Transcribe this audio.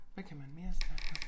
Hvad kan man mere snakke om